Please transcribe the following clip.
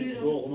Gəlin buyurun.